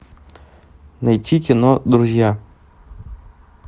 найти кино друзья